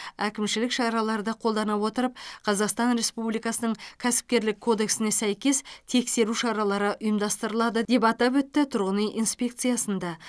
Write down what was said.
әкімшілік шараларды қолдана отырып қазақстан республикасының кәсіпкерлік кодексіне сәйкес тексеру шаралары ұйымдастырылады деп атап өтті тұрғын үй инспекциясында